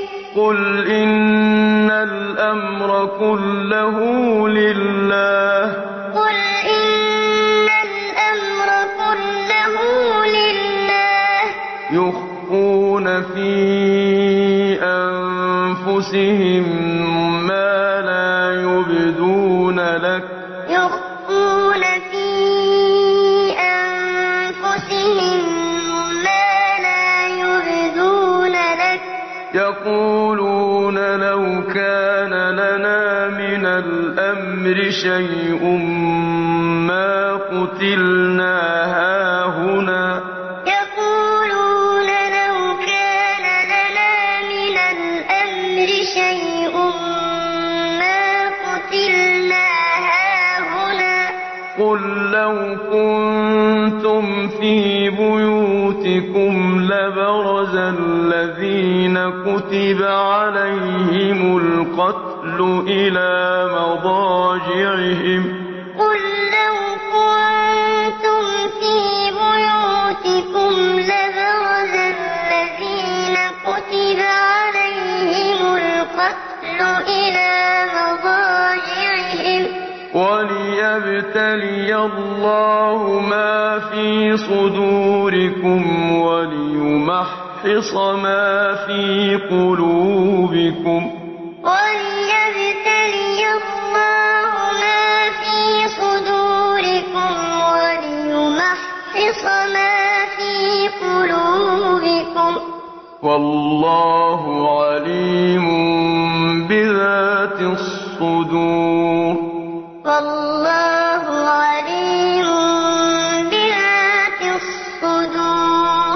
ۗ قُلْ إِنَّ الْأَمْرَ كُلَّهُ لِلَّهِ ۗ يُخْفُونَ فِي أَنفُسِهِم مَّا لَا يُبْدُونَ لَكَ ۖ يَقُولُونَ لَوْ كَانَ لَنَا مِنَ الْأَمْرِ شَيْءٌ مَّا قُتِلْنَا هَاهُنَا ۗ قُل لَّوْ كُنتُمْ فِي بُيُوتِكُمْ لَبَرَزَ الَّذِينَ كُتِبَ عَلَيْهِمُ الْقَتْلُ إِلَىٰ مَضَاجِعِهِمْ ۖ وَلِيَبْتَلِيَ اللَّهُ مَا فِي صُدُورِكُمْ وَلِيُمَحِّصَ مَا فِي قُلُوبِكُمْ ۗ وَاللَّهُ عَلِيمٌ بِذَاتِ الصُّدُورِ ثُمَّ أَنزَلَ عَلَيْكُم مِّن بَعْدِ الْغَمِّ أَمَنَةً نُّعَاسًا يَغْشَىٰ طَائِفَةً مِّنكُمْ ۖ وَطَائِفَةٌ قَدْ أَهَمَّتْهُمْ أَنفُسُهُمْ يَظُنُّونَ بِاللَّهِ غَيْرَ الْحَقِّ ظَنَّ الْجَاهِلِيَّةِ ۖ يَقُولُونَ هَل لَّنَا مِنَ الْأَمْرِ مِن شَيْءٍ ۗ قُلْ إِنَّ الْأَمْرَ كُلَّهُ لِلَّهِ ۗ يُخْفُونَ فِي أَنفُسِهِم مَّا لَا يُبْدُونَ لَكَ ۖ يَقُولُونَ لَوْ كَانَ لَنَا مِنَ الْأَمْرِ شَيْءٌ مَّا قُتِلْنَا هَاهُنَا ۗ قُل لَّوْ كُنتُمْ فِي بُيُوتِكُمْ لَبَرَزَ الَّذِينَ كُتِبَ عَلَيْهِمُ الْقَتْلُ إِلَىٰ مَضَاجِعِهِمْ ۖ وَلِيَبْتَلِيَ اللَّهُ مَا فِي صُدُورِكُمْ وَلِيُمَحِّصَ مَا فِي قُلُوبِكُمْ ۗ وَاللَّهُ عَلِيمٌ بِذَاتِ الصُّدُورِ